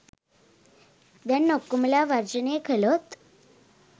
දැන් ඔක්කොමලා වර්ජනය කලොත්